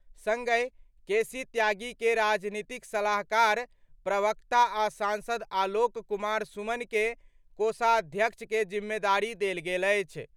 संगहि केसी त्यागी के राजनीतिक सलाहकार-प्रवक्ता आ सांसद आलोक कुमार सुमन के कोषाध्यक्ष के जिम्मेदारी देल गेल अछि।